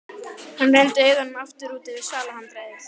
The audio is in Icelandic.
Hann renndi augunum aftur út yfir svalahandriðið.